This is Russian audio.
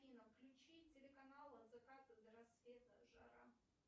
афина включи телеканал от заката до рассвета жара